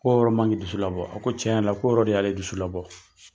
Ko yɔrɔ man k'i dusu labɔ a ko tiɲɛ yɛrɛ la ko de y'ale dusu labɔ.